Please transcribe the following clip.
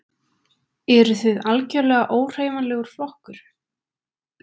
Eruð þið algjörlega óhreyfanlegur flokkur?